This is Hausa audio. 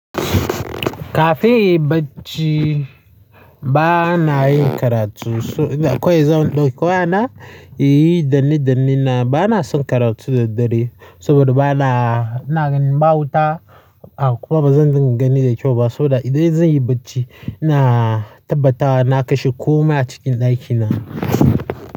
Kafin yi bacci, ba na yin karatu. Ko yana yi danni danni na ba na son karatu da dare saboda ba na, na gani ba wuta kuma ba zan dinga gani da kyau ba. Saboda idan zan yi bacci, ina tabbatarwa na kashe komai a cikin ɗakina.